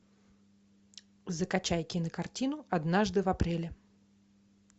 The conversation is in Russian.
закачай кинокартину однажды в апреле